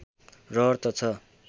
रहर त छ